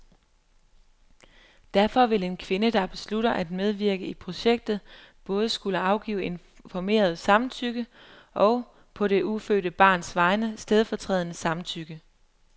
Derfor vil en kvinde, der beslutter at medvirke i projektet, både skulle afgive informeret samtykke og, på det ufødte barns vegne, stedfortrædende samtykke.